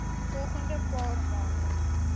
volgende paar maande